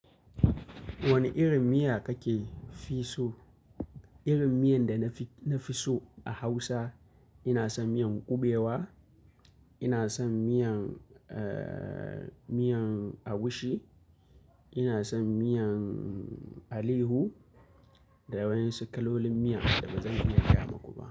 Wane irin miya kake fi so? Irin miyan da na fi so a Hausa ina son miyan ƙubewa, ina son miyan, eh, miyan agushi, ina son miyan alayhu da wasu kalolin miyan da ba zan iya gaya muku ba.